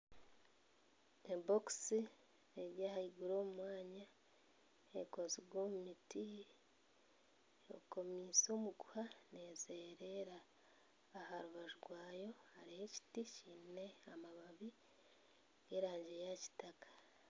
Ebokisi eri ah'aiguru omu mwanya ekozirwe omu miti ekomise omuguha neezererera aha rubaju rwayo hariyo ekiti kiine amababi g'erangi ya kitaka.